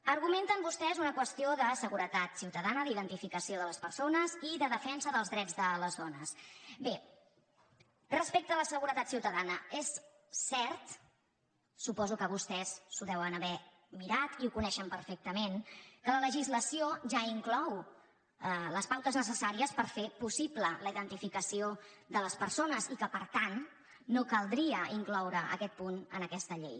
argumenten vostès una qüestió de seguretat ciutadana d’identificació de les persones i de defensa dels drets de les dones bé respecte a la seguretat ciutadana és cert suposo que vostès s’ho deuen haver mirat i ho coneixen perfectament que la legislació ja inclou les pautes necessàries per fer possible la identificació de les persones i que per tant no caldria incloure aquest punt en aquesta llei